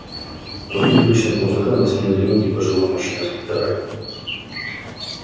квартет уличных музыкантов сменил одинокий пожилой мужчина с гитарой